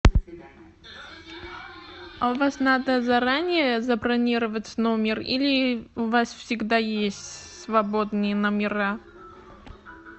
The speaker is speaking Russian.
а у вас надо заранее забронировать номер или у вас всегда есть свободные номера